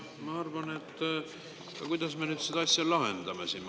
Kuidas me seda asja siis nüüd lahendame?